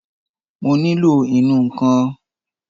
Mo nílò ìnù-ǹkan kan